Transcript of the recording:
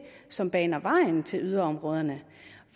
som baner vejen til yderområderne